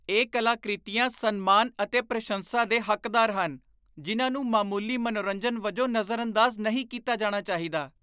ਇਹ ਕਲਾਕ੍ਰਿਤੀਆਂ ਸਨਮਾਨ ਅਤੇ ਪ੍ਰਸ਼ੰਸਾ ਦੇ ਹੱਕਦਾਰ ਹਨ, ਜਿਨ੍ਹਾਂ ਨੂੰ ਮਾਮੂਲੀ ਮਨੋਰੰਜਨ ਵਜੋਂ ਨਜ਼ਰਅੰਦਾਜ਼ ਨਹੀਂ ਕੀਤਾ ਜਾਣਾ ਚਾਹੀਦਾ।